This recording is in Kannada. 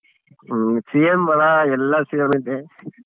ಹಾ same ಅಣ್ಣ ಎಲ್ಲ same ಐತೆ.